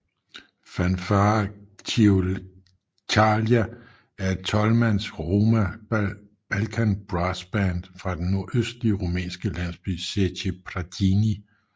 Fanfare Ciocărlia er et tolvmands roma Balkan brassband fra den nordøstlige rumænske landsby Zece Prăjini